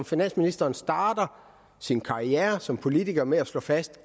finansministeren starter sin karriere som politiker med at slå fast at